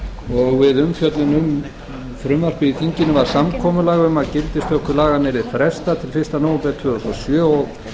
og við umfjöllun um frumvarpið í þinginu var samkomulag um að gildistöku laganna yrði frestað til fyrsta nóvember tvö þúsund og sjö og